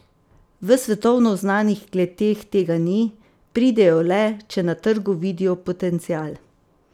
V svetovno znanih kleteh tega ni, pridejo le, če na trgu vidijo potencial.